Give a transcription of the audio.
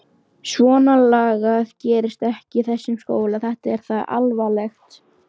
Svonalagað gerist ekki í þessum skóla, þetta er það alvarlegt!